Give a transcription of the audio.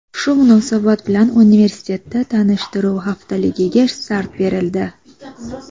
Shu munosabat bilan universitetda tanishtiruv haftaligiga start berildi.